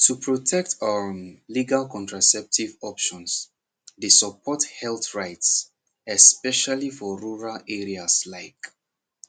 to protect um legal contraceptive options dey support health rights especially for rural areas like